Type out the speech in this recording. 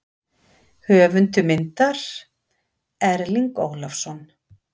Höfundur myndar: Erling Ólafsson.